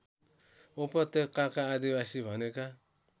उपत्यकाका आदिवासी भनेका